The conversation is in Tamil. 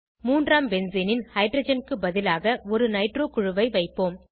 மூன்றாம் பென்சீனின் ஹைட்ரஜன் க்கு பதிலாக ஒரு நைட்ரோ குழுவை வைப்போம்